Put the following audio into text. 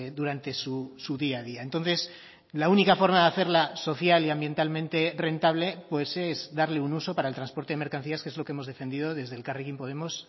durante su día a día entonces la única forma de hacerla social y ambientalmente rentable pues es darle un uso para el transporte de mercancías que es lo que hemos defendido desde elkarrekin podemos